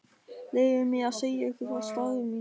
Leyfið mér að segja ykkur frá starfi mínu.